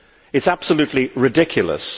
It is absolutely ridiculous.